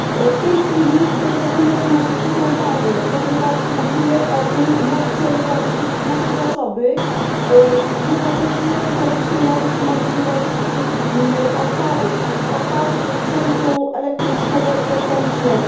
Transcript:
W tej chwili ten dokument ma niezwykłą wagę, ponieważ mówimy o tym, jak chcemy oszczędzić nasze zasoby, jednocześnie wykorzystując możliwości odpadów, odpadów ze sprzętu elektrycznego i elektronicznego.